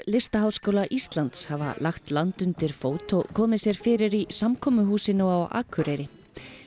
Listaháskóla Íslands hafa lagt land undir fót og komið sér fyrir í samkomuhúsinu á Akureyri